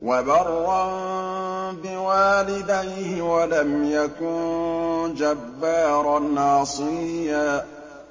وَبَرًّا بِوَالِدَيْهِ وَلَمْ يَكُن جَبَّارًا عَصِيًّا